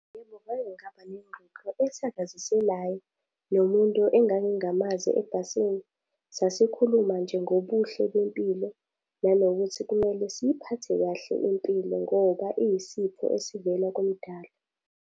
Yebo, ngake ngaba nengxoxo ethakaziselayo, nomuntu engangingamazi ebhasini. Sasikhuluma nje ngobuhle bempilo, nanokuthi kumele siyiphathe kahle impilo ngoba iyisipho esivela kuMdali.